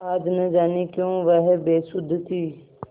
आज न जाने क्यों वह बेसुध थी